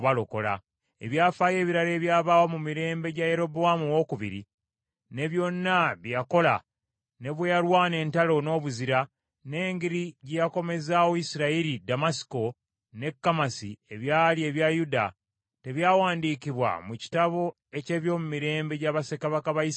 Ebyafaayo ebirala ebyabaawo mu mirembe gya Yerobowaamu II, ne byonna bye yakola, ne bwe yalwana entalo n’obuzira, n’engeri gye yakomezaawo Isirayiri Ddamasiko ne Kamasi ebyali ebya Yuda, tebyawandiikibwa mu kitabo eky’ebyomumirembe gya bassekabaka ba Isirayiri?